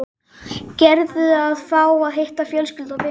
Gerður að fá að hitta fjölskyldu og vini.